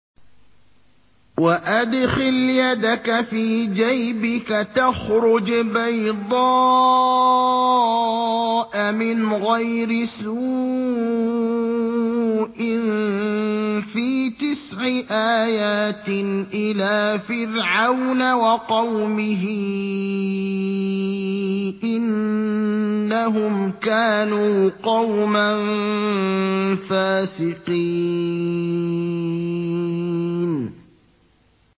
وَأَدْخِلْ يَدَكَ فِي جَيْبِكَ تَخْرُجْ بَيْضَاءَ مِنْ غَيْرِ سُوءٍ ۖ فِي تِسْعِ آيَاتٍ إِلَىٰ فِرْعَوْنَ وَقَوْمِهِ ۚ إِنَّهُمْ كَانُوا قَوْمًا فَاسِقِينَ